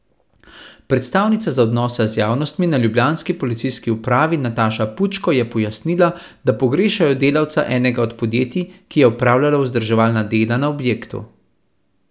Predstavnica za odnose z javnostmi na ljubljanski policijski upravi Nataša Pučko je pojasnila, da pogrešajo delavca enega od podjetij, ki je opravljalo vzdrževalna dela na objektu.